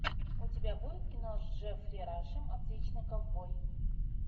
у тебя будет кино с джеффри рашем отличный ковбой